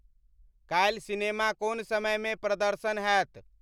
काल्हि सिनेमा कोन समय म प्रदर्शन हैत